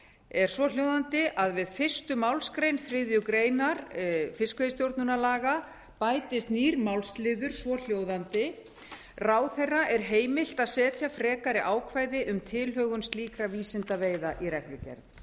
er svohljóðandi við fyrstu málsgrein þriðju grein laganna bætist nýr málsliður svohljóðandi ráðherra er heimilt að setja frekari ákvæði um tilhögun slíkra vísindaveiða í reglugerð